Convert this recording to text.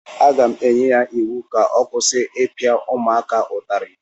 Aga m enye ya iwu ka ọ kwụsị ịpịa ụmụaka ụtarị!